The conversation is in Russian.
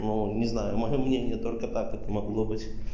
ну не знаю моё мнение только так это могло быть